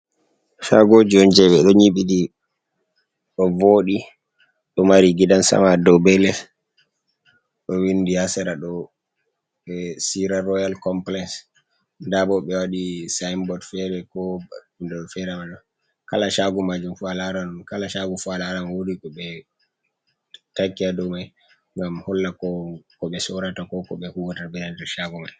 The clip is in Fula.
Chagoji on je ɓe ɗo nyiɓi ɗi ɗo voɗi, ɗo mari gidan sama dou be les, ɗo windi ha sera ɗo be cira royal complies, nda bo ɓe waɗi sinbord fere ko hunde ɗo fere malla ha majum, kala shago majum fu alaran, kala shago fu alaran wodi ko ɓe taki ha dou mai, ngam holla ko ɓe sorata, ko ko ɓe huwata ha nder shago mai.